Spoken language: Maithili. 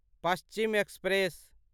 पश्चिम एक्सप्रेस